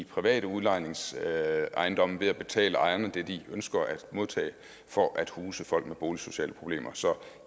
private udlejningsejendomme ved at betale ejerne det de ønsker at modtage for at huse folk med boligsociale problemer så